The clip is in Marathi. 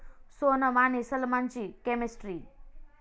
सोनम आणि सलमानची केमिस्ट्री